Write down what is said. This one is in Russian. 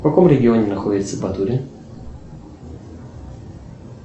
в каком регионе находится батурин